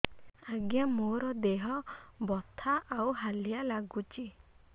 ଆଜ୍ଞା ମୋର ଦେହ ବଥା ଆଉ ହାଲିଆ ଲାଗୁଚି